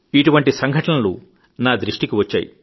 ఇటువంటి సంఘటనలు నా దృష్టికి వచ్చాయి